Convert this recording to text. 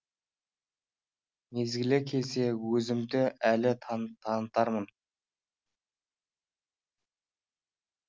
мезгілі келсе өзімді әлі танытармын